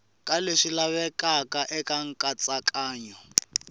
ka leswi lavekaka eka nkatsakanyo